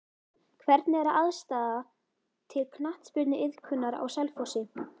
Hvernig er aðstaða til knattspyrnuiðkunar á Selfossi?